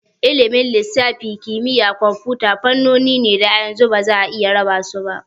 Ilimin lissafi da kimiyyar kwamfuta fannoni ne da a yanzu ba za'a iya raba su ba.